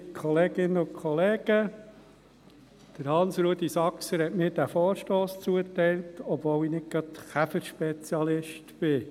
Hans-Rudolf Saxer hat mir diesen Vorstoss zugeteilt, obwohl ich nicht gerade Käferspezialist bin.